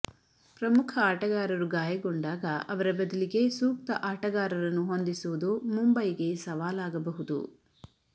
ಪ್ರಮುಖ ಆಟಗಾರರು ಗಾಯಗೊಂಡಾಗ ಅವರ ಬದಲಿಗೆ ಸೂಕ್ತ ಆಟಗಾರರನ್ನು ಹೊಂದಿಸುವುದು ಮುಂಬೈಗೆ ಸವಾಲಾಗಬಹುದು